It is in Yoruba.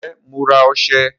Ǹjẹ́ Mo ra ọsẹ